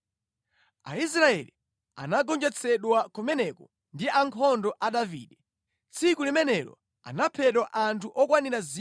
Aisraeli anagonjetsedwa kumeneko ndi ankhondo a Davide. Tsiku limenelo anaphedwa anthu okwanira 20,000.